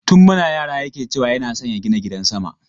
Tun muna yara yake ce wa yana son ya gina gidan sama.